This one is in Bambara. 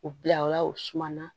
U bila o la u suma na